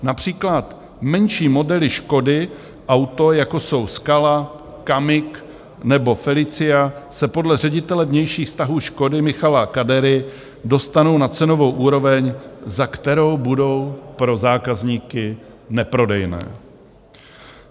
Například menší modely Škody Auto, jako jsou Scala, Kamiq nebo Felicia, se podle ředitele vnějších vztahů Škody Michala Kadery dostanou na cenovou úroveň, za kterou budou pro zákazníky neprodejné.